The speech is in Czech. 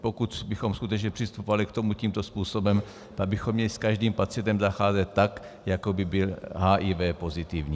Pokud bychom skutečně přistupovali k tomu tímto způsobem, tak bychom měli s každým pacientem zacházet tak, jako by byl HIV pozitivní.